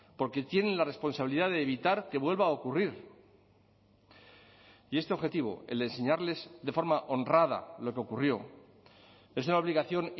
porque tienen la responsabilidad de evitar que vuelva a ocurrir y este objetivo el de enseñarles de forma honrada lo que ocurrió es una obligación